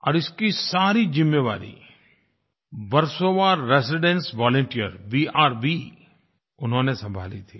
और इसकी सारी जिम्मेवारी वर्सोवा रेसिडेंस वॉलंटियर वीआरवी उन्होंने संभाली थी